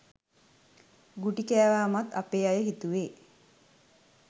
ගුටි කෑවමත් අපේ අය හිතුවෙ